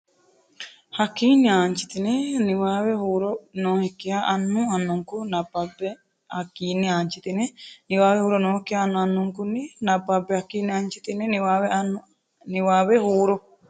Hakkiinni aanchitine niwaawe huuro nookkiha annu annunkun- nabbabbe Hakkiinni aanchitine niwaawe huuro nookkiha annu annunkun- nabbabbe Hakkiinni aanchitine niwaawe huuro.